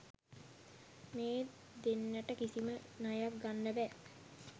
මේ දෙන්නටම කිසිම ණයක් ගන්න බෑ.